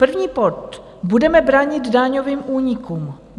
První bod: "Budeme bránit daňovým únikům."